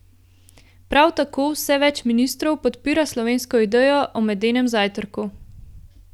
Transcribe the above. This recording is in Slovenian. Prav tako vse več ministrov podpira slovensko idejo o medenem zajtrku.